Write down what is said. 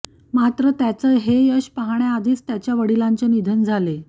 मात्र त्याचं हे यश पाहण्याआधीच त्याच्या वडिलांचे निधन झाले